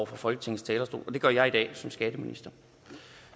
fra folketingets talerstol og det gør jeg i dag som skatteminister